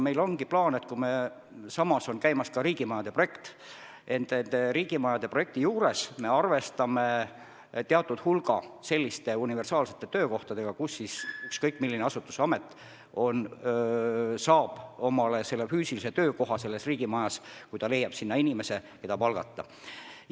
Meil ongi plaan, et kui samas on käimas ka riigimajade projekt, siis selle projekti puhul me arvestame teatud hulga universaalsete töökohtadega: ükskõik milline asutus-amet saab omale riigimajas füüsilise töökoha, kui ta leiab sinna inimese, kelle palgata.